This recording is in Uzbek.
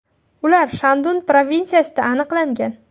Ular Shandun provinsiyasida aniqlangan.